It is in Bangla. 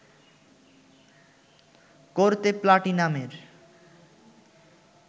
করতে প্লাটিনামের